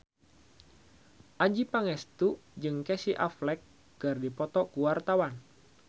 Adjie Pangestu jeung Casey Affleck keur dipoto ku wartawan